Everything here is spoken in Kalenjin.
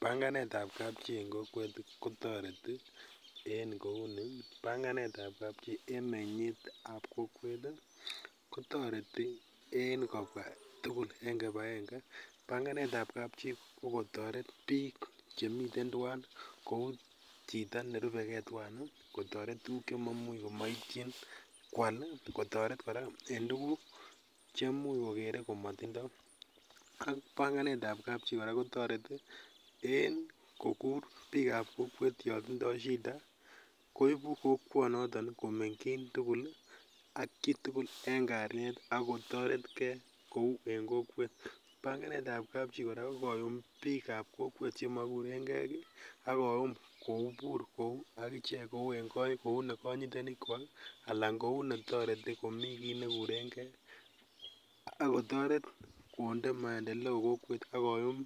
Panganetab kapchii en kokwet kotoreti en kouni, panganetab kapchii en meny'et ab kokwet ii kotoreti en kobwa tugul en kibakenge, panganet ab kapchii ko kotoret biik chemiten twan kou chito nerubegen twan ii, kotoret tuguk chemaimuch komoitchin kwal, kotoret kora cheimuch kogere komatindo, ak panganetab kapchii kora kotoreti en kogur biikab kokwet yon tindo shita koibu kokwonoton komenkyin tugul ak chitugul en kalyet ak kotoretgen kou en kokwet, panganetab kapchii kora kokoyum biik ab kokwet chemokureng'en gii ak koyum kobur agichek kou negonyitenikwak alan kounetoreti komi kit nekurenge ak kotoret konde maendeleo kokwet ak koyum